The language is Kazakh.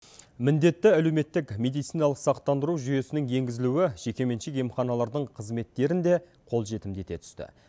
міндетті әлеуметтік медициналық сақтандыру жүйесінің енгізілуі жеке меншік емханалардың қызметтерін де қолжетімді ете түсті